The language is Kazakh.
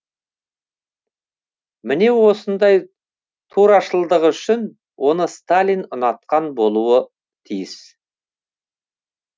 міне осындай турашылдығы үшін оны сталин ұнатқан болуы тиіс